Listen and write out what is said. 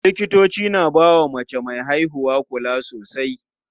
Likitoci na bawa mace me haihuwa kula sosai.